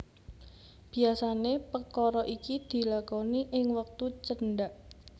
Biasané pekara iki dilakoni ing wektu cendhak